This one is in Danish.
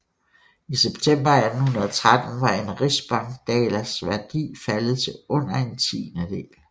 I september 1813 var en rigsbankdalers værdi faldet til under en tiendedel